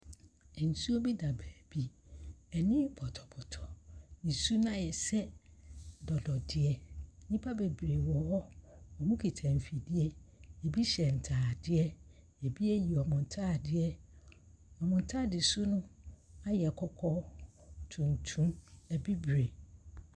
Nsuo bi da beebi, ani pɔtɔpɔtɔ. nsuo no ayɛ sɛ dɔdɔdeɛ. Nnipa bebree wɔ hɔ, wɔkita mfidie. Bi hyɛ ntaadeɛ, bi ayiyi wɔn ho wɔn ntaadeɛ. Wɔn ntaade soro no ayɛ kɔkɔɔ, tuntum, bibire.